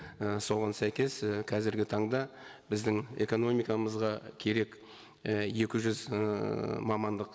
і соған сәйкес і қазіргі таңда біздің экономикамызға керек і екі жүз ыыы мамандық